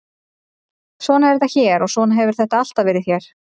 Svona er þetta hér og svona hefur þetta alltaf verið hér.